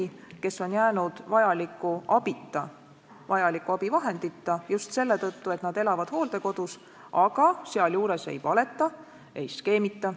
Need inimesed on jäänud vajaliku abita, vajaliku abivahendita just selle tõttu, et nad elavad hooldekodus ja sealjuures ei valeta, ei skeemita.